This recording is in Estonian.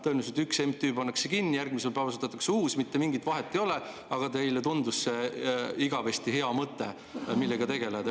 Tõenäoliselt üks MTÜ pannakse kinni, järgmisel päeval asutatakse uus, mitte mingit vahet ei ole, aga teile tundus see igavesti hea mõte, millega tegeleda.